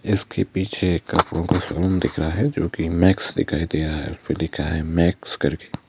इसके पीछे एक आपको शरूम दिख रहा हैजो कि मैक्स दिखाई दे रहा हैउस परे लिखा हैमैक्स करके--